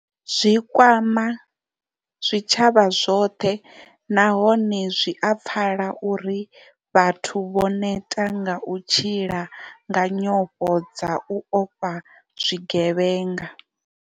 Zwi kwama zwi tshavha zwoṱhe nahone zwi a pfala uri vhathu vho neta nga u tshila nga nyofho dza u ofha zwi gevhenga.